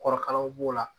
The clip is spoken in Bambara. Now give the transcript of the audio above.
Kɔrɔkalanw b'o la